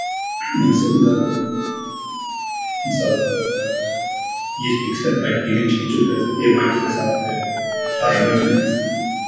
оның сыртында мысалы ыыы еркін кітапбаев деген жігіт жүр қазір эмайтида сабақ беріп қаржы математикасынан